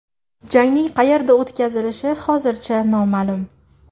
Jangning qayerda o‘tkazilishi hozircha noma’lum.